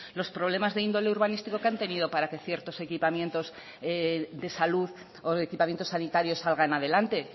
los problemas de índole urbanístico que han tenido para que ciertos equipamientos de salud o equipamientos sanitarios salgan adelante